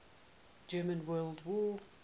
german world war